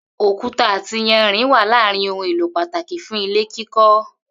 Òkúta àti iyanrìn wà lára ohun èlò pàtàkì fún ilé kíkó̩